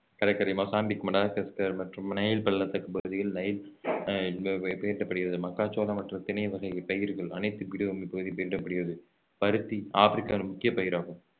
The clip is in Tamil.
கடற்கரை மொசாம்பிக் மடகாஸ்கர் மற்றும் நைல் பள்ளத்தாக்கு பகுதிகள் அஹ் பயிரடப்படுகிறது மக்காச்சோளம் மற்றும் திணை வகை பயிர்கள் அனைத்து பீடபூமி பகுதி பயிரிடப்படுகிறது பருத்தி ஆப்பிரிக்காவின் முக்கிய பயிராகும்